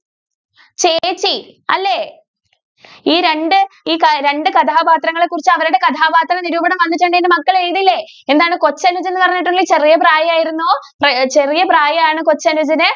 ചേച്ചി, അല്ലേ? ഈ രണ്ടു ഈ രണ്ടു കഥാപാത്രങ്ങളെ കുറിച്ച് അവരുടെ കഥാപാത്ര നിരൂപണം വന്നിട്ടുണ്ടെങ്കിൽ മക്കൾ എഴുതില്ലേ എന്താണ് കൊച്ചനുജൻ എന്ന് പറഞ്ഞിട്ടുണ്ടെങ്കിൽ ചെറിയ പ്രായം ആയിരുന്നു ചെറിയ പ്രായം ആണ് കൊച്ചനുജന്‌